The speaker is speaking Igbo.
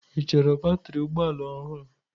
Ị chọrọ batrị ụgbọ ala ọhụrụ?